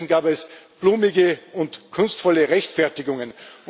Stattdessen gab es blumige und kunstvolle Rechtfertigungen.